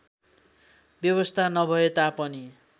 व्यवस्था नभए तापनि